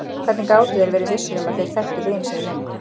Hvernig gátu þeir verið vissir um að þeir þekktu vin sinn lengur?